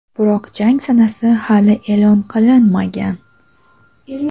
Biroq jang sanasi hali e’lon qilinmagan.